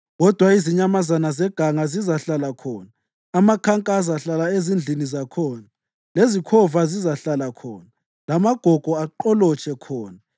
Kodwa izinyamazana zeganga zizahlala khona, amakhanka azahlala ezindlini zakhona lezikhova zizahlala khona, lamagogo aqolotshe khona.